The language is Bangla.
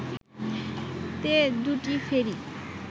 তে দুটি ফেরি